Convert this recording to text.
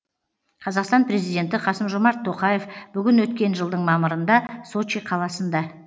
қазақстан президенті қасым жомарт тоқаев бүгін өткен жылдың мамырында сочи қаласында